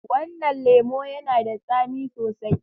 Wannan lemo yana da tsami sosai.